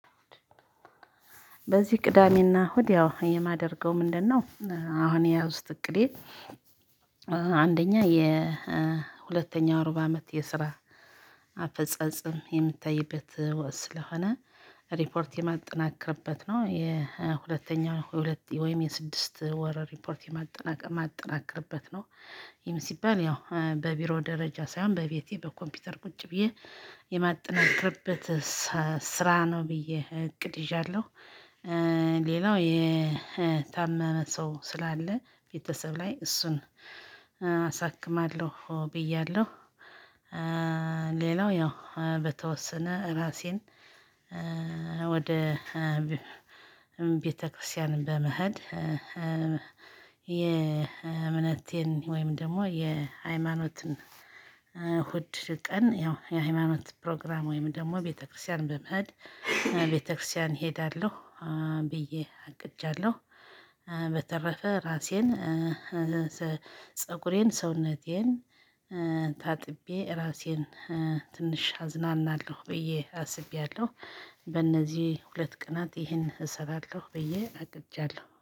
በዚህ ቅዳሜና እሁድ ያው የማደርገው ምንድነው? አሁን የያዙት እቅዴ አንደኛ የሁለተኛው እሩብ አመት የስራ አፈጻጸም የሚታይበት ስለሆነ ሪፖርት የማጠናክርበት ነው። የሁለተኛው ወይም የስድስት ወር ሪፖርት የማጠናቀቅ ማጠናቀቅበት ነው። ሲባል ያው በቢሮ ደረጃ ሳይሆን በቤቴ በኮምፒውተር ቁጭ ብዬ የማጠናክርበት ስራ ነው ብዬ እቅድ ይዣለሁ። ሌላው የታመመ ሰው ስላለ ቤተሰብ ላይ እሱን አሳክማለሁ ብያለሁ። ሌላው ያው በተወሰነ ራሴን ወደ ቤተክርስቲያን በመሄል። የእምነቴን ወይም ደግሞ የሃይማኖትን እሁድ ቀን ያው የሃይማኖት ፕሮግራም ወይም ደግሞ ቤተክርስቲያን በመሃል ቤተክርስቲያን እሄዳለሁ ብዬ አቅጃለሁ። በተረፈ ራሴን ፀጉሬን ሰውነቴን ታጥቤ ራሴን ትንሽ አዝናናለሁ ብዬ አስቤያለሁ። በእነዚህ ሁለት ቀናት ይሄን እሰራለሁ ብዬ አቅጃለሁ